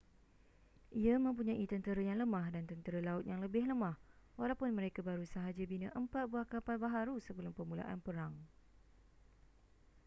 ia mempunyai tentera yang lemah dan tentera laut yang lebih lemah walaupun mereka baru sahaja bina empat buah kapal baharu sebelum permulaan perang